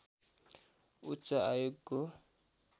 उच्च आयोगको